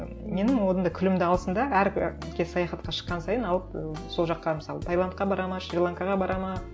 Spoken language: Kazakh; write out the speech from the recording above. менің одан да күлімді алсын да әр кез саяхатқа шыққан сайын алып ы сол жаққа мысалы таиландқа барады ма шри ланкаға барады ма